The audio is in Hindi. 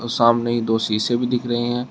सामने ही दो शीशे भी दिख रहे है।